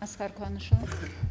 асқар қуанышұлы